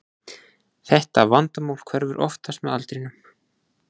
Þetta vandamál hverfur oftast með aldrinum.